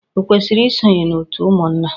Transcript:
O kwesiri isonye na òtù ụmụnna?